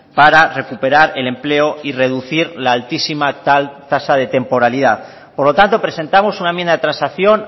para recuperar el empleo y reducir la altísima tasa de temporalidad por lo tanto presentamos una enmienda de transacción